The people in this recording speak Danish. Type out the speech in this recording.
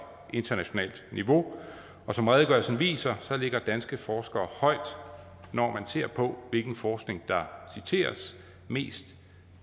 internationalt niveau og som redegørelsen viser ligger danske forskere højt når man ser på hvilken forskning der citeres mest